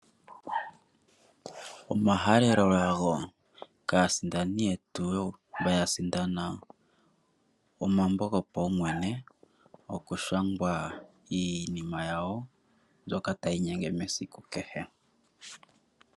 Omahalelolago kaasindani yetu, mba ya sindana omambo gopaumwene gokushangwa iinima yawo mbyoka tayi inyenge mesiku kehe.